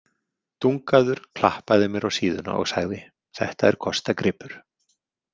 Dungaður klappaði mér á síðuna og sagði: Þetta er kostagripur.